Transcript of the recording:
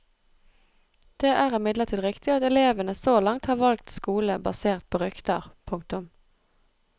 Det er imidlertid riktig at elevene så langt har valgt skole basert på rykter. punktum